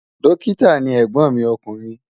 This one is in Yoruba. Dọ́kítà ni ẹ̀gbọ́n mi ọkùnrin.